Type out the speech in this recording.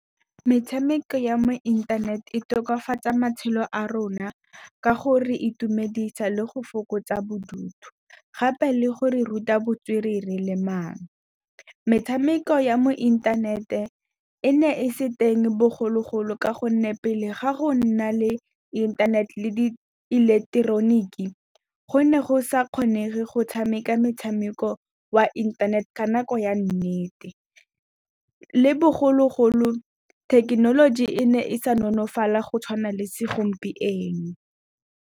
Metshameko ya mo inthaneteng e tokafatsa matshelo a rona, ka go re itumedisa le go fokotsa bodutu, gape le go re ruta botswerere le maano. Metshameko ya mo inthanete e ne e se teng bogologolo, ka gonne pele ga go nna le inthanete le di ileketeroniki go ne go sa kgonege go tshameka metshameko wa inthanete ka nako ya nnete. Le bogologolo thekenoloji e ne e sa nonofala go tshwana le segompieno.